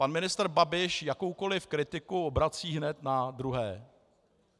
Pan ministr Babiš jakoukoliv kritiku obrací hned na druhé.